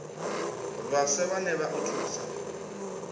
vhaswa vhane vha o thusa